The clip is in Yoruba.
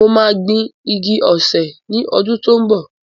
Mo máa gbin igi osè ní ọdún tó ń bọ̀.